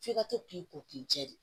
F'i ka to k'i ko k'i cɛ de